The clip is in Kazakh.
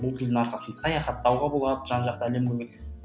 бұл тілдің арқасында саяхаттауға болады жан жаққа